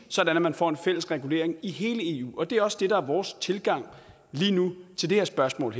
sådan at man får en fælles regulering i hele eu og det er også det der er vores tilgang til det her spørgsmål